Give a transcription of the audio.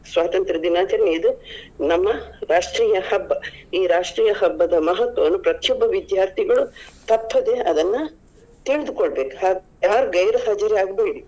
ಸ್ವಾತಂತ್ರ ದಿನಾಚರಣೆ ಇದು ನಮ್ಮ ರಾಷ್ಟ್ರೀಯ ಹಬ್ಬ ಈ ರಾಷ್ಟ್ರೀಯ ಹಬ್ಬದ ಮಹತ್ವವನ್ನು ಪ್ರತಿಯೊಬ್ಬ ವಿದ್ಯಾರ್ಥಿಗಳು ತಪ್ಪದೆ ಅದನ್ನ ತಿಳಿದುಕೊಳ್ಳಬೇಕು ಯಾರು ಗೈರು ಹಾಜರಿ ಆಗ್ಬೇಡಿ.